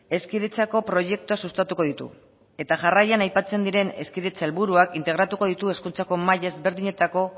hezkidetzako proiektuak sustatuko ditu eta jarraian aipatzen diren hezkidetza helburuak integratuko ditu hezkuntza maila desberdinetako